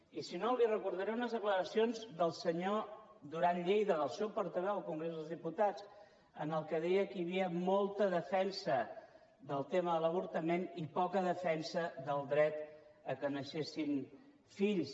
i si no li recordaré unes declaracions del senyor duran lleida del seu portaveu al congrés dels diputats en què deia que hi havia molta defensa del tema de l’avortament i poca defensa del dret que naixessin fills